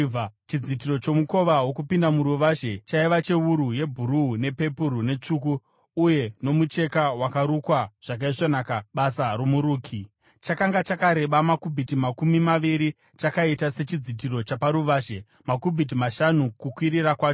Chidzitiro chomukova wokupinda muruvazhe chaiva chewuru yebhuruu, nepepuru netsvuku uye nomucheka wakarukwa zvakaisvonaka, basa romuruki. Chakanga chakareba makubhiti makumi maviri , chakaita sechidzitiro chaparuvazhe, makubhiti mashanu kukwirira kwacho,